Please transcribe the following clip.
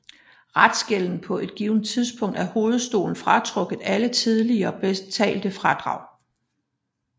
Restgælden på et givet tidspunkt er hovedstolen fratrukket alle tidligere betalte afdrag